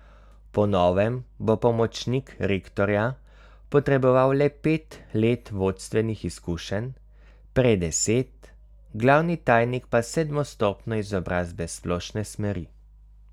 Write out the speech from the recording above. Po novem bo pomočnik rektorja potreboval le pet let vodstvenih izkušenj, prej deset, glavni tajnik pa sedmo stopnjo izobrazbe splošne smeri.